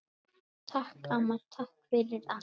Takk, amma, takk fyrir allt.